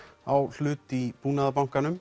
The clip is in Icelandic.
á hlut í Búnaðarbankanum